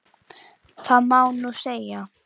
Það má nú segja.